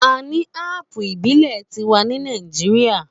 A ní ápù ìbílẹ̀ tiwa ní Nàíjíría.